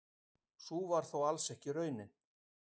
Sú var þó alls ekki raunin.